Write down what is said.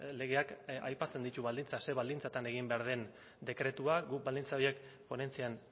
legeak aipatzen ditu baldintzak zer baldintzatan egin behar den dekretua guk baldintza horiek ponentzian